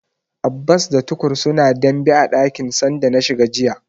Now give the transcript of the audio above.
Abbas da Tukur suna dambe a dakin sanda na shiga jiya.